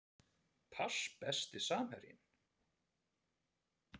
Pass Besti samherjinn?